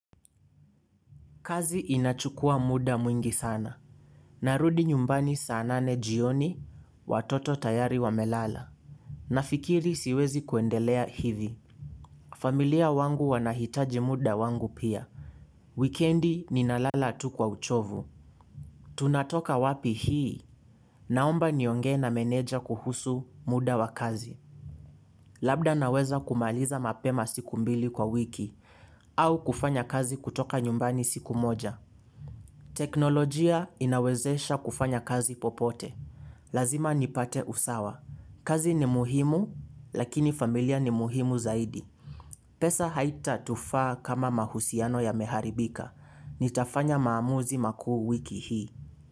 Kazi inachukua muda mwingi sana. Narudi nyumbani saa nane jioni watoto tayari wamelala. Nafikiri siwezi kuendelea hivi. Familia wangu wanahitaji muda wangu pia. Wikendi ninalala tu kwa uchovu. Tunatoka wapi hii? Naomba niongee na meneja kuhusu muda wa kazi. Labda naweza kumaliza mapema siku mbili kwa wiki. Au kufanya kazi kutoka nyumbani siku moja. Teknolojia inawezesha kufanya kazi popote. Lazima nipate usawa. Kazi ni muhimu lakini familia ni muhimu zaidi. Pesahaitatufaa kama mahusiano yameharibika. Nitafanya maamuzi makuu wiki hii.